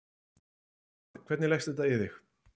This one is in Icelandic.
Jóhann: Hvernig leggst þetta í þig?